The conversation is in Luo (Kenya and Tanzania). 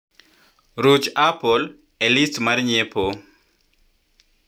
ruch apple e list mar nyiepo